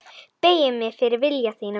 Beygi mig fyrir vilja þínum.